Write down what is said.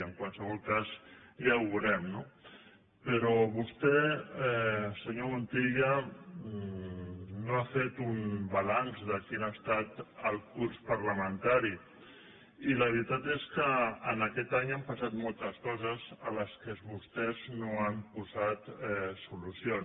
en qualsevol cas ja ho veurem no però vostè senyor montilla no ha fet un balanç de quin ha estat el curs parlamentari i la veritat és que en aquest any han passat moltes coses a les quals vostès no hi han posat solució